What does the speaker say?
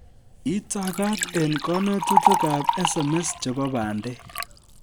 Itakaat eng kanetutikak SMS chebo bandek